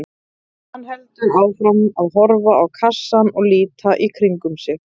Hann heldur áfram að horfa á kassann og líta í kringum sig.